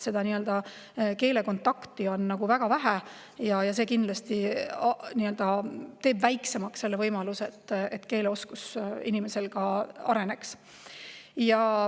Siis on keelekontakti väga vähe ja see kindlasti teeb väiksemaks selle võimaluse, et inimese keeleoskus areneks.